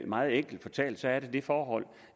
meget enkelt fortalt er der det forhold